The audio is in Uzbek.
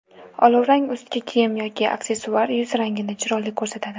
Olovrang ustki kiyim yoki aksessuar yuz rangini chiroyli ko‘rsatadi.